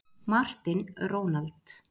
Martin, Ronald.